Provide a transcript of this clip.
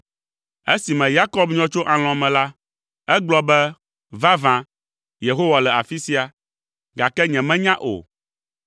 Esime Yakob nyɔ tso alɔ̃ me la, egblɔ be, “Vavã, Yehowa le afi sia, gake nyemenya o.”